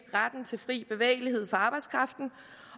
retten til fri bevægelighed for arbejdskraften